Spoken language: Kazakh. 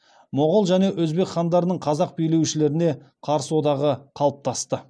моғол және өзбек хандарының қазақ билеушілеріне қарсы одағы қалыптасты